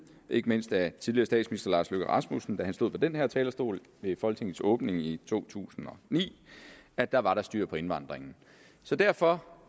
ikke mindst af tidligere statsminister herre lars løkke rasmussen da han stod på den her talerstol ved folketingets åbning i to tusind og ni at der var styr på indvandringen derfor